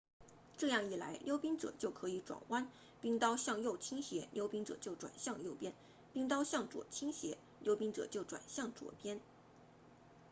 这样一来溜冰者就可以转弯冰刀向右倾斜溜冰者就转向右边冰刀向左倾斜溜冰者就转向左边